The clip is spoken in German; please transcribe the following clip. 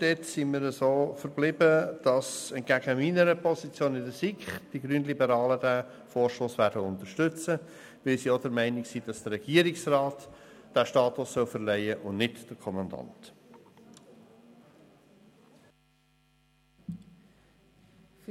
Wir haben uns geeinigt, den Antrag der BDP zu unterstützen, da wir der Meinung sind, dass der Regierungsrat und nicht der Kommandant diesen Status verleihen soll.